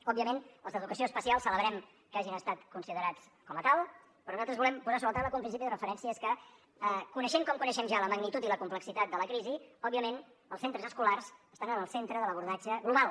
òbviament els d’educació especial celebrem que hagin estat considerats com a tals però nosaltres volem posar sobre la taula que un principi de referència és que coneixent com coneixem ja la magnitud i la complexitat de la crisi òbviament els centres escolars estan en el centre de l’abordatge global